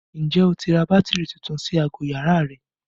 Ǹjẹ́ o ti ra bátìrì tuntun sí aago yàrá rẹ?